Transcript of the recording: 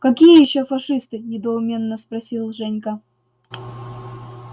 какие ещё фашисты недоуменно спросил женька